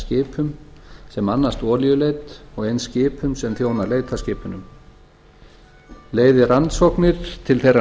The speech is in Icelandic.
skipum sem annast olíuleit og eins skipum sem þjóna leitarskipunum leiði rannsóknir til þeirrar